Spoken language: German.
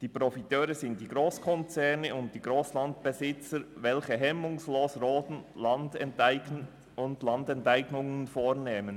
Die Profiteure sind die Grosskonzerne und die Grossgrundbesitzer, die hemmungslos roden und Landenteignungen vornehmen.